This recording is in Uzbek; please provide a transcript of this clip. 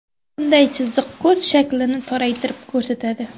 Bunday chiziq ko‘z shaklini toraytirib ko‘rsatadi.